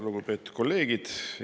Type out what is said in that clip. Lugupeetud kolleegid!